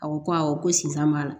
A ko ko awɔ ko sisan b'a la